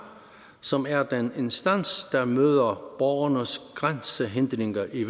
som er den instans der møder borgernes grænsehindringer i